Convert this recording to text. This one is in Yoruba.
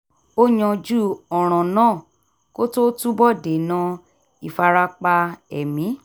ó yanjú ọ̀ràn náà kó tó túbọ̀ dènà ìfarapa ẹ̀mí